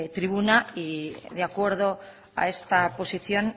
tribuna y de acuerdo a esta posición